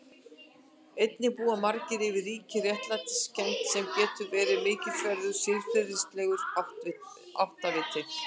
Einnig búa margir yfir ríkri réttlætiskennd sem getur verið mikilsverður siðferðilegur áttaviti.